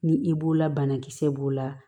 Ni i b'o la banakisɛ b'o la